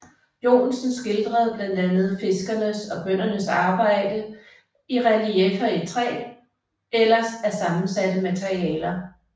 Joensen skildrede blandt andet fiskernes og bøndernes arbejde i relieffer i træ eller af sammensatte materialer